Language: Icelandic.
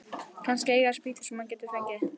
Kannski eiga þeir spýtur sem hann getur fengið.